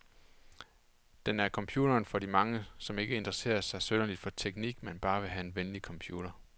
Den er computeren for de mange, som ikke interesserer sig synderligt for teknik, men bare vil have en venlig computer.